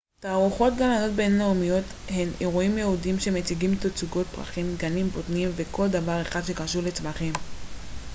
תערוכות גננות בינלאומיות הן אירועים ייעודיים שמציגים תצוגות פרחים גנים בוטניים וכל דבר אחר שקשור לצמחים